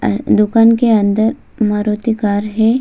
दुकान के अंदर मारुती कार है।